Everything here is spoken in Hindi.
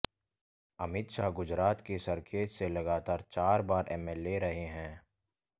अमित शाह गुजरात के सरखेज से लगातार चार बार एमएलए रहे हैं